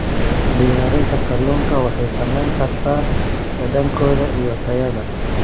Diyaarinta kalluunka waxay saameyn kartaa dhadhankooda iyo tayada.